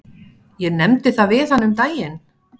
Ég nefndi það við hana um daginn.